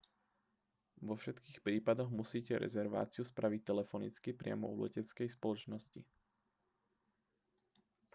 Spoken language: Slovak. vo všetkých prípadoch musíte rezerváciu spraviť telefonicky priamo u leteckej spoločnosti